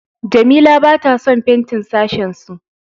Jamila bata son fentin sashensu.